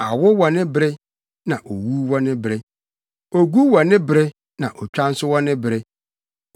Awo wɔ ne bere, na owu wɔ ne bere, ogu wɔ ne bere na otwa nso wɔ ne bere,